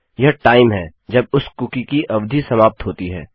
यह टाइम है जब उस कुकी की अवधि समाप्त होती है